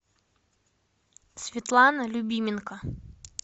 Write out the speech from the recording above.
светлана любименко